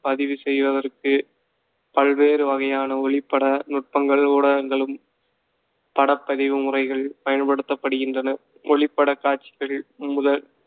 பதிவு செய்வதற்கு பல்வேறு வகையான ஒளிப்பட நுட்பங்கள், ஊடகங்களும், படப்பதிவு முறைகள் பயன்படுத்தப்படுகின்றன. ஒளிப்படக் காட்சிகள் முதல்